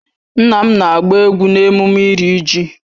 Nna m na-agba egwu n'emume iri ji